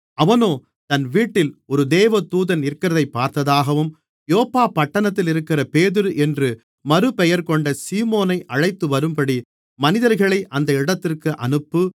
அவனோ தன் வீட்டில் ஒரு தேவதூதன் நிற்கிறதைப் பார்த்ததாகவும் யோப்பா பட்டணத்திலிருக்கிற பேதுரு என்று மறுபெயர்கொண்ட சீமோனை அழைத்துவரும்படி மனிதர்களை அந்த இடத்திற்கு அனுப்பு